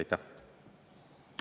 Aitäh!